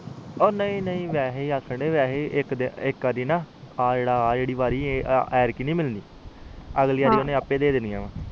ਉਹ ਨਹੀਂ ਨਹੀਂ ਵੈਸੇ ਏ ਆਖਣ ਡਾਏ ਆ ਇਕ ਵਾਰੀ ਆ ਇਕ ਵਾਰੀ ਐਦਕੀ ਨੀ ਮਿਲਣੀ ਅਗਲੀ ਵਾਰੀ ਓਹਨੇ ਆਪਿ ਦੇ ਦੇਣੀਆਂ ਆ